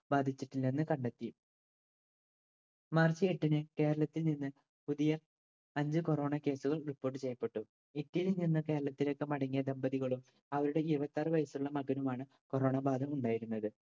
ബാധിച്ചിട്ടില്ലെന്ന് കണ്ടെത്തി മാർച്ച് എട്ടിന് കേരളത്തിൽ നിന്നും പുതിയ അഞ്ചു corona case കൾ report ചെയ്യപ്പെട്ടു. ഇറ്റലിയിൽ നിന്ന് കേരളത്തിലേക്ക് മടങ്ങിയ ദമ്പതികളും അവരുടെ ഇരുപത്താറ് വയസ്സുള്ള മകനുമാണ് corona ബാധ ഉണ്ടായിരുന്നത്.